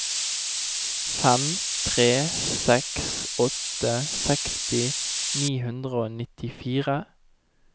fem tre seks åtte seksti ni hundre og nittifire